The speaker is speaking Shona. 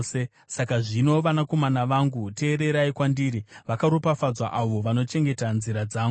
“Saka zvino, vanakomana vangu, teererai kwandiri; vakaropafadzwa avo vanochengeta nzira dzangu.